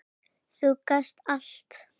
Þú gast allt.